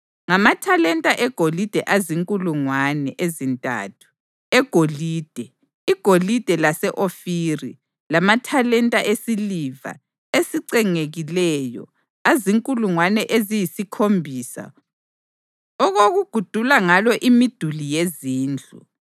ngamathalenta egolide azinkulungwane ezintathu egolide (igolide lase-Ofiri) lamathalenta esiliva esicengekileyo azinkulungwane eziyisikhombisa okokugudula ngalo imiduli yezindlu,